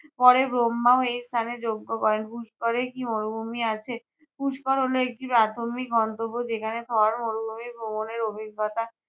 পরে ব্রহ্মাও এই স্থানে যজ্ঞ করেন। পুস্করে কি মরুভুমি আছে? পুষ্কর হলো একটি প্রাথমিক গন্তব্য যেখানে থর মরুভুমি ভ্রমণের অভিজ্ঞতা